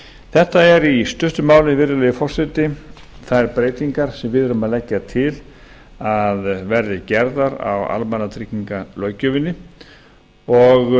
þetta er í stuttu máli virðulegi forseti þær breytingar sem við erum að leggja til að verði gerðar á almannatryggingalöggjöfinni og